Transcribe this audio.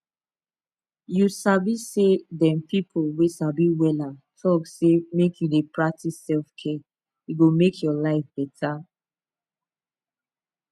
you sabi say dem people wey sabi wella talk say make you dey practice selfcare e go make your life better